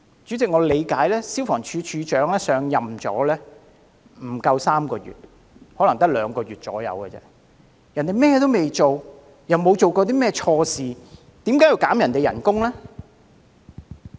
主席，據我所知，消防處處長上任不足3個月，可能只有大約兩個月，根本未及開展甚麼工作，亦沒有做過甚麼錯事，為何要削減他的薪酬呢？